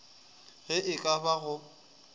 ge e ka ba go